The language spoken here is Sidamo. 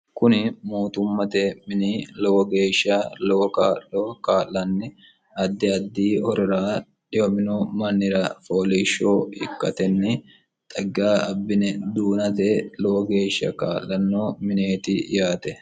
kuni muotummate mini lowo geeshsha lowo kaa'lo kaa'lanni addi addi horira dhiyomino mannira fooliishsho ikkatenni xagga abbine duunate lowo geeshsha kaa'lanno mineeti yaate